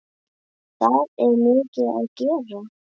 Það er mikið að gera.